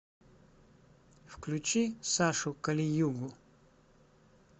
включи сашу калиюгу